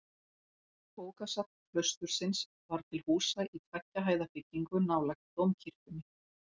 Bókasafn klaustursins var til húsa í tveggja hæða byggingu nálægt dómkirkjunni.